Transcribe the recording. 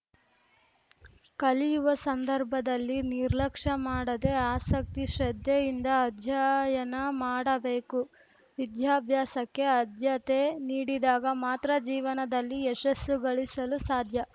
ಕಲಿಯುವ ಸಂದರ್ಭದಲ್ಲಿ ನಿರ್ಲಕ್ಷ ಮಾಡದೇ ಆಸಕ್ತಿ ಶ್ರದ್ಧೆಯಿಂದ ಅಧ್ಯಯನ ಮಾಡಬೇಕು ವಿದ್ಯಾಬ್ಯಾಸಕ್ಕೆ ಆದ್ಯತೆ ನೀಡಿದಾಗ ಮಾತ್ರ ಜೀವನದಲ್ಲಿ ಯಶಸ್ಸು ಗಳಿಸಲು ಸಾಧ್ಯ